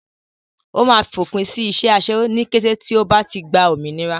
Ó máa fòpin sí iṣẹ́ aṣẹ́wó ní kété tí ó bá ti gba òmìnira.